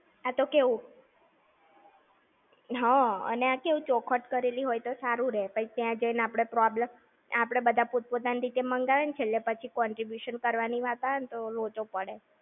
આ તો કેવું? હા, અને આ કેવું ચોખવટ કરેલી હોય તો સારું રેય. પછી તયાં જઈ ને આપણે problem, આપણે બધા પોત-પોતાની રીતે મંગાઈએ ને છેલ્લે પછી contribution કરવાની વાત આવે તો લોચો પડે.